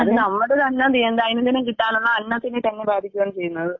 അത് നമ്മുടെയെല്ലാം ദൈനംദിനം കിട്ടാനുള്ള അന്നത്തിനെ തന്നെ ബാധിക്കാണ് ചെയ്യുന്നത്.